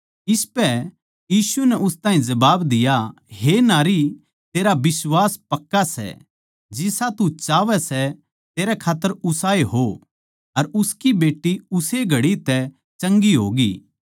इसपै यीशु नै उस ताहीं जबाब दिया हे नारी तेरा बिश्वास पक्का सै जिसा तू चाहवै सै तेरै खात्तर उसाए हो अर उसकी बेट्टी उस्से घड़ी तै चंगी होग्यी